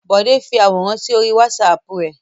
Bọ̀dé fi àwòrán sí orí WhatsApp rẹ̀.